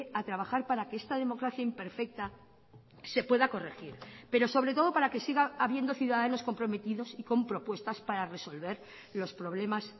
a trabajar para que esta democracia imperfecta se pueda corregir pero sobre todo para que siga habiendo ciudadanos comprometidos y con propuestas para resolver los problemas